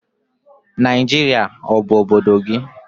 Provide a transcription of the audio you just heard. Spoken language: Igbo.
Naijiria ọ bụ obodo gị?